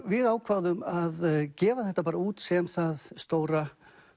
við ákváðum að gefa þetta bara út sem það stóra